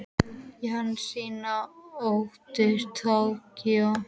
Jensína, áttu tyggjó?